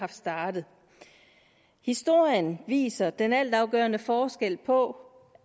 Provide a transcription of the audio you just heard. startet historien viser den altafgørende forskel på